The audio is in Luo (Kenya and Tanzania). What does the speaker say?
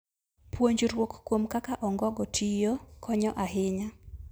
Puonjruok kuom kaka ongogo tiyo konyo ahinya.